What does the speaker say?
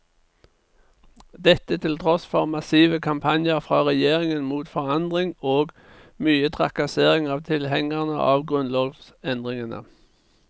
Dette til tross for massive kampanjer fra regjeringen mot forandring og mye trakassering av tilhengerne av grunnlovsendringene.